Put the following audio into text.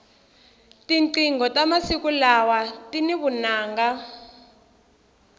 tinqingho ta masiku lawa tini vunanga